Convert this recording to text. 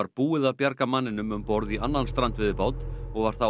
búið að bjarga manninum um borð í annan strandveiðibát og var